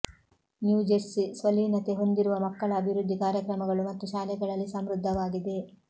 New Jersey ಸ್ವಲೀನತೆ ಹೊಂದಿರುವ ಮಕ್ಕಳ ಅಭಿವೃದ್ಧಿ ಕಾರ್ಯಕ್ರಮಗಳು ಮತ್ತು ಶಾಲೆಗಳಲ್ಲಿ ಸಮೃದ್ಧವಾಗಿದೆ